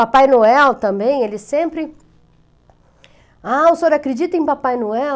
Papai Noel também, ele sempre... Ah, o senhor acredita em Papai Noel?